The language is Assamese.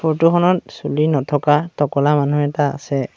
ফটো খনত চুলি নথকা তকলা মানুহ এটা আছে।